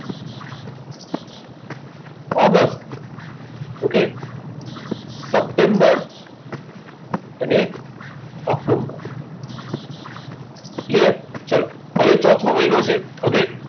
August ok September અને October clear હવે ચોથો મહિનો છે ok